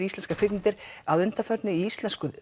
íslenskar kvikmyndir að undanförnu í íslensku